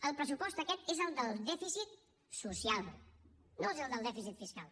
el pressupost aquest és el del dèficit social no és el del dèficit fiscal